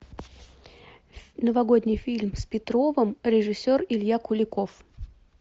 новогодний фильм с петровым режиссер илья куликов